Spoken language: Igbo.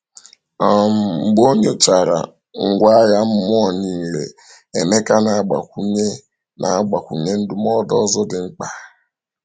um Mgbe o nyochachara ngwa agha mmụọ niile, Emeka na-agbakwunye na-agbakwunye ndụmọdụ ọzọ dị mkpa.